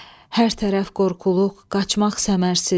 Hər tərəf qorxuluq, qaçmaq səmərsiz.